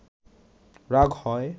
রাগ হয়